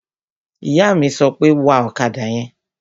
Ìyá mi sọ pé, "Wa ọ̀kadà yẹn!"